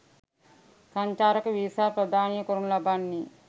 සංචාරක වීසා ප්‍රදානය කරනු ලබන්නේ